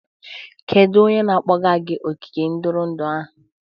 Kedu onye na-akpọga gị ogige ntụrụndụ ahụ?